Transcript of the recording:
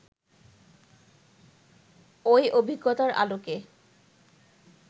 ওই অভিজ্ঞতার আলোকে